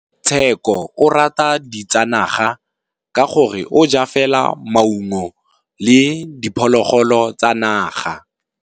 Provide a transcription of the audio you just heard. Tshekô o rata ditsanaga ka gore o ja fela maungo le diphologolo tsa naga.